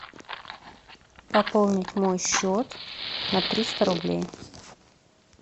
пополнить мой счет на триста рублей